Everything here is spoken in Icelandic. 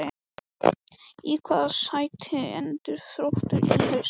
Í hvaða sæti endar Þróttur í haust?